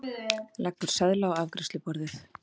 Leggur seðla á afgreiðsluborðið.